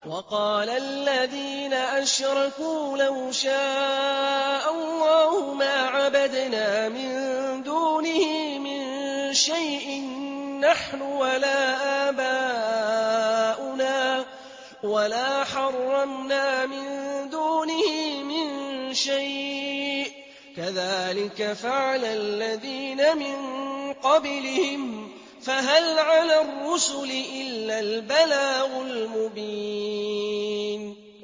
وَقَالَ الَّذِينَ أَشْرَكُوا لَوْ شَاءَ اللَّهُ مَا عَبَدْنَا مِن دُونِهِ مِن شَيْءٍ نَّحْنُ وَلَا آبَاؤُنَا وَلَا حَرَّمْنَا مِن دُونِهِ مِن شَيْءٍ ۚ كَذَٰلِكَ فَعَلَ الَّذِينَ مِن قَبْلِهِمْ ۚ فَهَلْ عَلَى الرُّسُلِ إِلَّا الْبَلَاغُ الْمُبِينُ